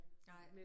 Nej